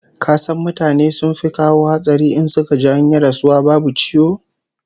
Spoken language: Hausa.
Ka san mutane sun fi kawo hatsari in suka ji an yi rasuwa babu ciwo?